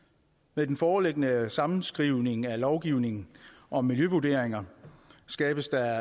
med den foreliggende sammenskrivning af lovgivningen om miljøvurderinger skabes der